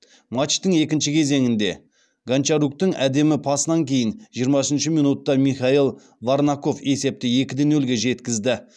матчтың екінші кезеңінде гончаруктың әдемі пасынан кейін жиырма үшінші минутта михаил варнаков есепті екіде нөлге жеткізді